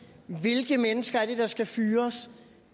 hvilke mennesker der skal fyres